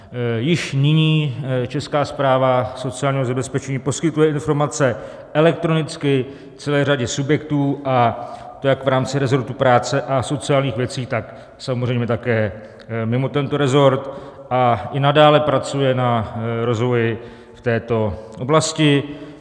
Již nyní Česká správa sociálního zabezpečení poskytuje informace elektronicky celé řadě subjektů, a to jak v rámci resortu práce a sociálních věcí, tak samozřejmě také mimo tento resort, a i nadále pracuje na rozvoji v této oblasti.